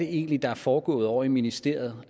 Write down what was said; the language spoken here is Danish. egentlig er foregået ovre i ministeriet